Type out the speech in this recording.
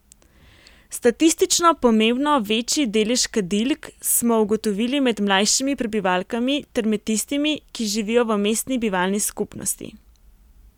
Statistično pomembno večji delež kadilk smo ugotovili med mlajšimi prebivalkami ter med tistimi, ki živijo v mestni bivalni skupnosti.